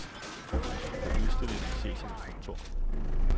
På udstillingen ses hans kontor.